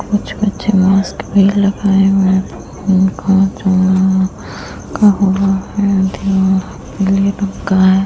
कुछ बच्चे मास्क भी लगाए हुए हैं। है।